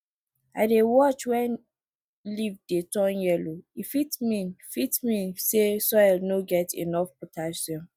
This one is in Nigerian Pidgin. i dey watch when leaf dey turn yellow e fit mean fit mean say soil no get enough potassium